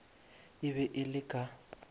e be e le ka